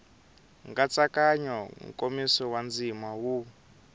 nkatsakanyo nkomiso wa ndzima wu